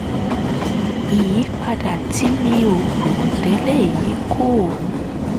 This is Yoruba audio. ìyípadà tí mi ò rò tẹ́lẹ̀ yìí kọ́